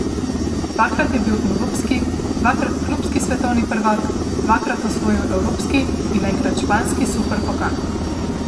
Dvakrat je bil evropski, dvakrat klubski svetovni prvak, dvakrat osvojil evropski in enkrat španski superpokal.